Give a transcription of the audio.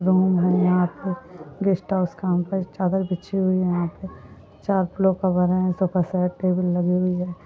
यहाँ पर गेस्टहाउस काम कर चादर बिछी हुई है यहाँ पर सोफासेट लगी हुई हैं।